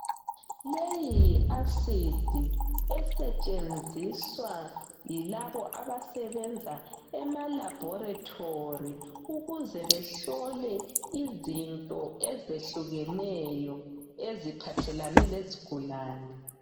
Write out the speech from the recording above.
Leyi yi"acid" esetshenziswa yilabo abasebenza ema"laboratory"ukuze behlole izinto ezehlukeneyo eziphathelane lezigulani.